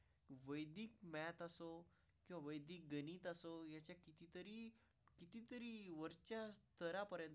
Bank असो की वेदिक गणित असो. याच्या किती तरी किती तरी वरच्या थरापर्यंत.